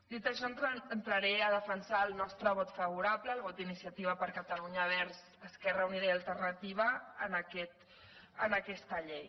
dit això entraré a defensar el nostre vot favorable el vot d’iniciativa per catalunya verds esquerra unida i alternativa a aquesta llei